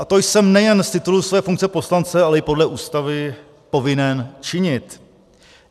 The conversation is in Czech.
A to jsem nejen z titulu své funkce poslance, ale i podle Ústavy povinen činit.